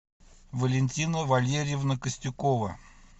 валентина валерьевна костюкова